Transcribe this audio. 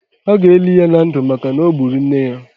A ga-eli ya na ndụ maka na o gburu nne ya